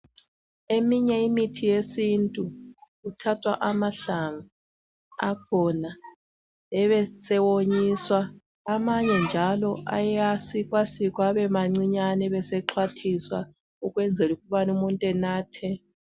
Eminye imithi yesintu kuthathwa amahlamvu akhona ebesewonyiswa. Amanye njalo ayasikwasikwa abemancinyane abesexhwathiswa ukwenzela ukubana umuntu enathe.